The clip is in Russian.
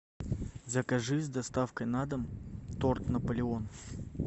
закажи с доставкой на дом торт наполеон